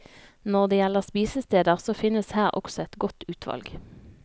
Når det gjelder spisesteder så finnes her også et godt utvalg.